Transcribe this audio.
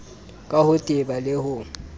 ka ho teba le ho